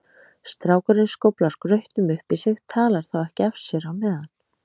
Strákurinn skóflar grautnum upp í sig, talar þá ekki af sér á meðan.